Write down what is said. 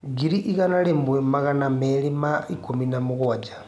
ngiri igana rĩmwe magana merĩ ma ikumi na mũgwanja